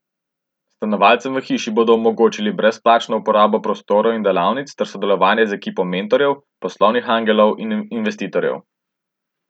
Stanovalcem v hiši bodo omogočili brezplačno uporabo prostorov in delavnic ter sodelovanje z ekipo mentorjev, poslovnih angelov in investitorjev.